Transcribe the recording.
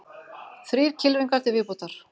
Þrír kylfingar til viðbótar